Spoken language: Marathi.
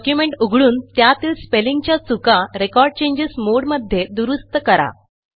डॉक्युमेंट उघडून त्यातील स्पेलिंगच्या चुका रेकॉर्ड चेंजेस मोडे मध्ये दुरूस्त करा